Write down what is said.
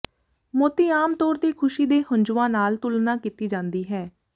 ਮੋਤੀ ਆਮ ਤੌਰ ਤੇ ਖ਼ੁਸ਼ੀ ਦੇ ਹੰਝੂਆਂ ਨਾਲ ਤੁਲਨਾ ਕੀਤੀ ਜਾਂਦੀ ਹੈ